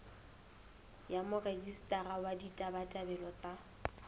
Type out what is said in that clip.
ya morejistara wa ditabatabelo tsa